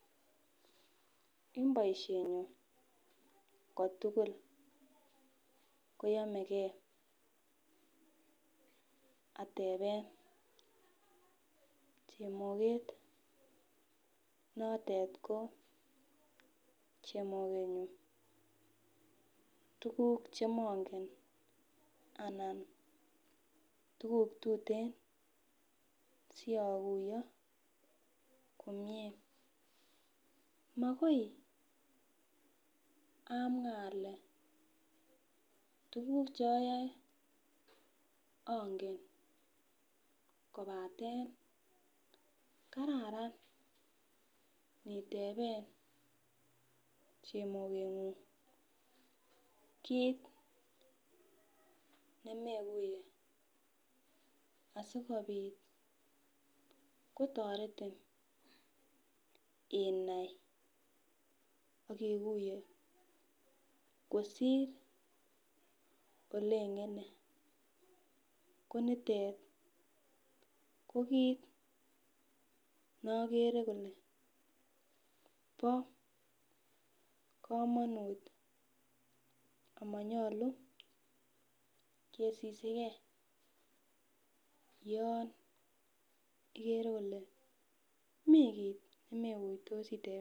En baishenyun kotugul koyamegei ateben chemoket notet ko chemoket nyun tuguk chemangen anan tuguk tuten siakuyo komie makoi amwa ale tuguk cheayae angen kobaten kararan niteben chemokenyun kit nemekuiye asikobit kotaretin inai akikuiye kosir olengende konitet ko kit neagere Kole ba kamanut amanyalu kesisigei yon igere Kole mi kit nemeigutosi